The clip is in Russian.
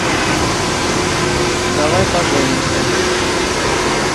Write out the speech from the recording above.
давай поженимся